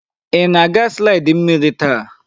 Ị na-aga slidi mmiri taa?